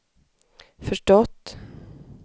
förstått